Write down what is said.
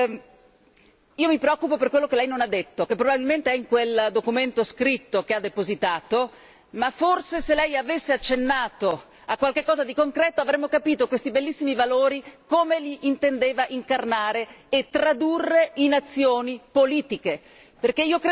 Ma io mi preoccupa per quello che lei non ha detto, che probabilmente è in quel documento scritto che ha depositato, ma forse se lei avesse accennato a qualche cosa di concreto avremmo capito questi bellissimi valori come li intendeva incarnare e tradurre in azioni politiche.